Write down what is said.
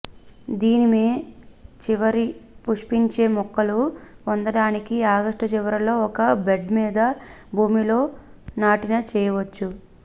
దీని మే చివరి పుష్పించే మొక్కలు పొందడానికి ఆగస్టు చివరిలో ఒక బెడ్ మీద భూమిలో నాటిన చేయవచ్చు